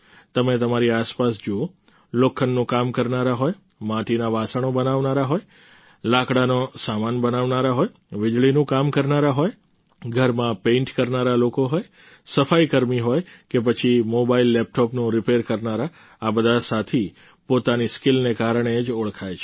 તમે તમારી આસપાસ જુઓ લોખંડનું કામ કરનારા હોય માટીના વાસણો બનાવનારા હોય લાકડાનો સામાન બનાવનારા હોય વિજળીનું કામ કરનારા લોકો હોય ઘરમાં પેઈન્ટ કરનારા લોકો હોય સફાઈ કર્મી હોય કે પછી મોબાઈલલેપટોપનું રિપેર કરનારા આ બધા સાથી પોતાની સ્કિલને કારણે જ ઓળખાય છે